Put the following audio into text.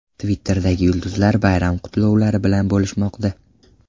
Twitterdagi yulduzlar bayram qutlovlari bilan bo‘lishmoqda .